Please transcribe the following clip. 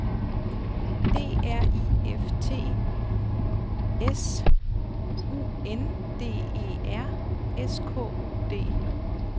D R I F T S U N D E R S K U D